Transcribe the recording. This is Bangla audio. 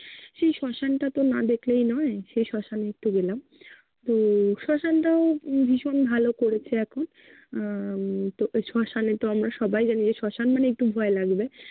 সেই শ্মশান টা তো না দেখলেই নয়। সেই শ্মশানে একটু গেলাম। তো শ্মশান টাও ভীষণ ভালো করেছে এখন আহ তো শ্মশানে তো আমরা সবাই জানি যে শ্মশান মানেই একটু ভয় লাগবে।